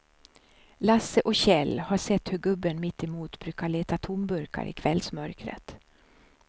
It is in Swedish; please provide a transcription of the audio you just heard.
Lasse och Kjell har sett hur gubben mittemot brukar leta tomburkar i kvällsmörkret.